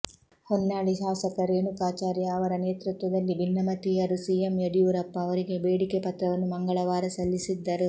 ಹೊನ್ನಾಳಿ ಶಾಸಕ ರೇಣುಕಾಚಾರ್ಯ ಅವರ ನೇತೃತ್ವದಲ್ಲಿ ಭಿನ್ನಮತೀಯರು ಸಿಎಂ ಯಡಿಯೂರಪ್ಪ ಅವರಿಗೆ ಬೇಡಿಕೆ ಪತ್ರವನ್ನು ಮಂಗಳವಾರ ಸಲ್ಲಿಸಿದ್ದರು